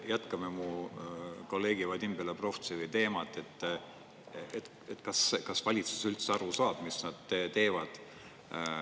Jätkame mu kolleegi Vadim Belobrovtsevi teemat, et kas kas valitsus üldse aru saab, mis nad teevad.